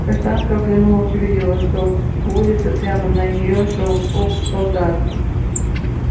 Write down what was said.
каштанка оглянулась увидела что по улице прямо на неё шёл полк солдат